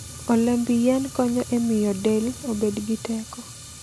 Olemb yien konyo e miyo del obed gi teko.